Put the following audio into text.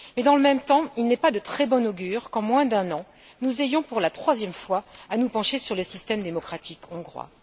Mais, dans le même temps, il n'est pas de très bon augure qu'en moins d'un an, nous ayons pour la troisième fois à nous pencher sur le système démocratique hongrois.